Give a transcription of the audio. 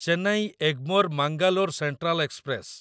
Chennai Egmore Mangalore central express